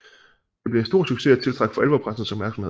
Det blev en stor succes og tiltrak for alvor pressens opmærksomhed